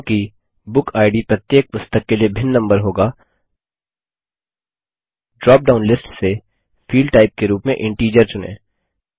क्योंकि बुकिड प्रत्येक पुस्तक के लिए भिन्न नम्बर होगा ड्रापडाउन लिस्ट से फील्ड टाइप के रूप में इंटीजर चुनें